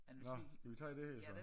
Nå skal vi tage det her så